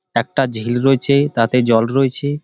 একটা ঝিল রয়েছে তাতে জল রয়েছে ।